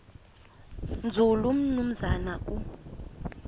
nzulu umnumzana u